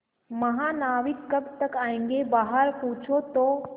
महानाविक कब तक आयेंगे बाहर पूछो तो